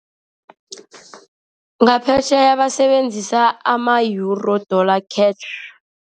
Ngaphetjheya abasebenzisa ama-euro, dollar, cash.